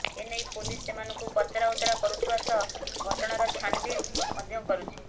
ଏନେଇ ପୋଲିସ ସେମାନଙ୍କୁ ପଚରା ଉଚରା କରୁଥିବା ସହ ଘଟଣାର ଛାନ୍ଭିନ୍ ମଧ୍ୟ କରୁଛି